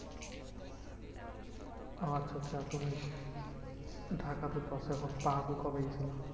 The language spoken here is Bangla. আচ্ছা আচ্ছা তুমি ঢাকাতে আচ্ছা তো পাহাড়পুর কবে গেছিলে?